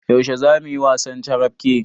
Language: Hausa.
Yaushe zamuyi wasan carabke?